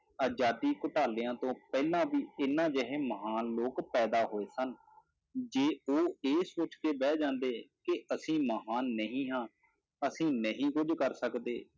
ਆਜ਼ਾਦੀਆਂ ਘਟਾਲਿਆਂ ਤੋਂ ਪਹਿਲਾਂ ਵੀ ਇਹਨਾਂ ਜਿਹੇ ਮਹਾਨ ਲੋਕ ਪੈਦਾ ਹੋਏ ਸਨ, ਜੇ ਉਹ ਇਹ ਸੋਚ ਕੇ ਬਹਿ ਜਾਂਦੇ ਕਿ ਅਸੀਂ ਮਹਾਨ ਨਹੀਂ ਹਾਂ, ਅਸੀਂ ਨਹੀਂ ਕੁੱਝ ਕਰ ਸਕਦੇ,